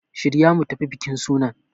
Shirya mu tafi bikin sunan!